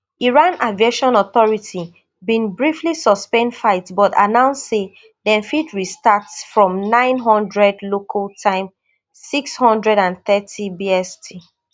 iran aviation authority bin briefly suspend flights but announce say dem fit restart from nine hundred local time six hundred and thirty bst